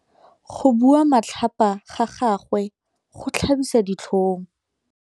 Go bua matlhapa ga gagwe go tlhabisa ditlhong.